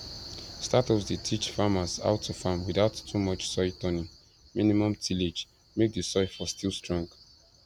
startups dey teach farmers how to farm without too much soil turning minimum tillage make the soil for still strong